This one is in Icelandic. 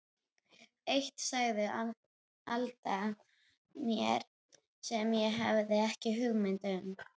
Eitt sagði Alda mér sem ég hafði ekki hugmynd um.